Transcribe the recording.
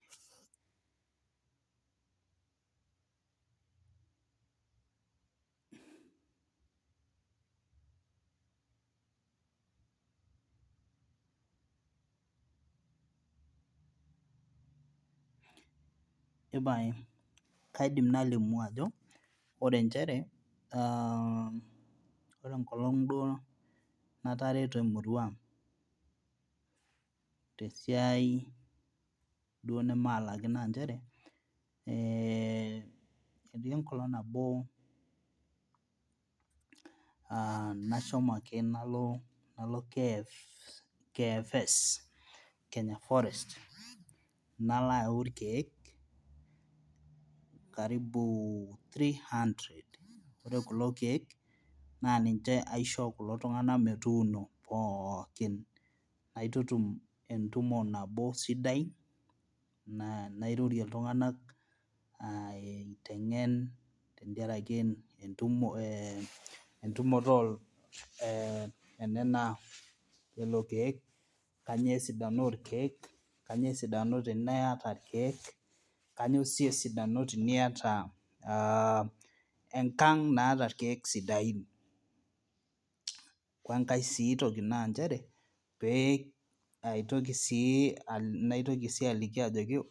Epae kaidim nalimu ajo ore nchere ore enkolong duo natareto emurua tesiai duo nemalali naa nchere ee etii enkolong nabo aa nashomo ake nalo KFS Kenya Forest nalo aun ilkiek karibu threehundred naa ore kulo kiek naa ninche aishoo kulo tung'anak metuuno pookin naitutum entumo nabo sidai nairorie iltunganak aiteng'en tendiaraki entumoto ooh eeh nena eleko keek kanyoo esidano olkeek kainyoo esidano teniata ilkeek kainyoo sii esidano teniata enkang naata ilkeek sidain Wengai sii toki naa nchere pee naitoki sii aliki aitoki